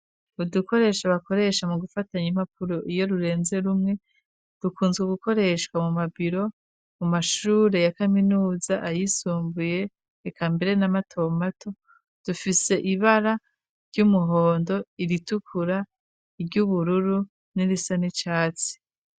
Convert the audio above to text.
Udukoresha bakoresha mu gufatanya impapuro iyo rurenze rumwe dukunzwe gukoreshwa mu mabiro mu mashure ya kaminuza ayisumbuye eka mbere n'amatomato dufise ibara ry'umuhondo iritukura iry'ubururu n'irisa n'icatsi.